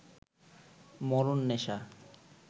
মরণ নেশা